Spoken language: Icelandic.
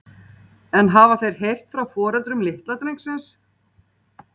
En hafa þeir heyrt frá foreldrum litla drengsins?